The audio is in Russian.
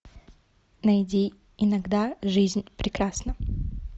найди иногда жизнь прекрасна